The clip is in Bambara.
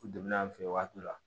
U donn'an fɛ yen waati dɔ la